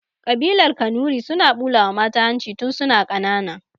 Ƙabilar kanuri suna ɓulawa mata hanci tun suna ƙana